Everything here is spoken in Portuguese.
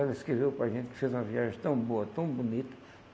Ela escreveu para gente que fez uma viagem tão boa, tão bonita.